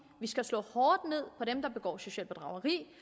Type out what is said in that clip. vi skal slå hårdt ned på dem der begår socialt bedrageri